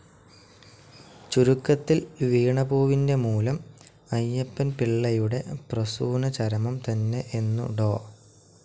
ചുരുക്കത്തിൽ വീണപൂവിന്റെ മൂലം അയ്യപ്പൻപിളളയുടെ പ്രസൂനചരമം തന്നെ എന്നു ഡോ.